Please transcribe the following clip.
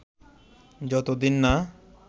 যত দিন না